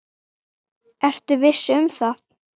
Ertu viss um það?